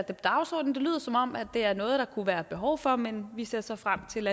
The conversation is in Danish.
på dagsordenen det lyder som om det er noget der kunne være behov for men vi ser så frem til